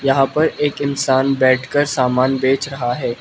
यहां पर एक इंसान बैठकर समान बेच रहा है।